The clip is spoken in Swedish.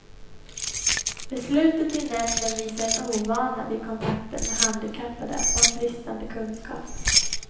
Beslutet i nämnden visar en ovana vid kontakten med handikappade och en bristande kunskap.